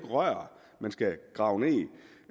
rør man skal grave